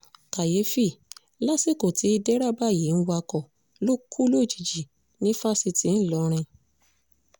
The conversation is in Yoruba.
kàyééfì lásìkò tí dẹrẹbà yìí ń wakọ̀ ló kù lójijì ní fásitì ìlọrin